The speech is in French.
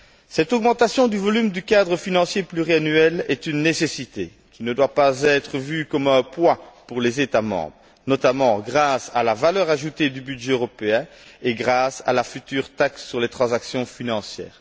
Cette augmentation du volume du cadre financier pluriannuel est une nécessité qui ne doit pas être vue comme un poids pour les États membres, notamment grâce à la valeur ajoutée du budget européen et grâce à la future taxe sur les transactions financières.